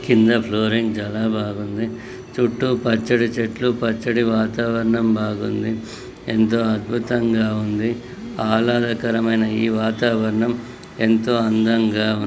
కింద ఫ్లోరింగ్ చాలా బాగుంది చుట్టూ పచ్చటి చెట్లు పచ్చటి వాతావరణం బాగుంది ఎంతో అద్భుతంగా ఉంది ఆహ్లాదకరమైన ఈ వాతావరణం ఎంతో అందంగా ఉంది.